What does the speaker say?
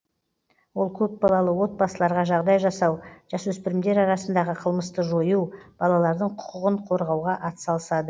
ол көпбалалы отбасыларға жағдай жасау жасөспірімдер арасындағы қылмысты жою балалардың құқығын қорғауға атсалысады